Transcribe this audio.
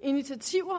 initiativer